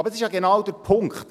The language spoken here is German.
Doch dies ist genau der Punkt: